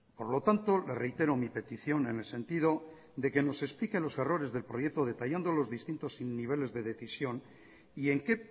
por lo tanto le reitero mi petición en el sentido de que nos explique los errores del proyecto detallando los distintos niveles de decisión y en qué